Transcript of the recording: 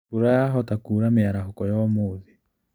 Mbura yahota kuura mĩarahũko ya ũmũthĩ.